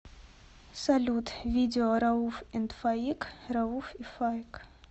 салют видео рауф энд фаик рауф и фаик